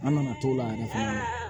An nana t'o la yɛrɛ fɛnɛ